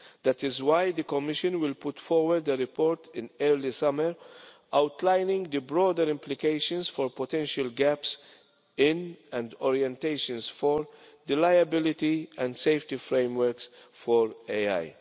That is why the Commission will put forward a report in early summer outlining the broader implications for potential gaps in, and orientations for, the liability and safety frameworks for AI.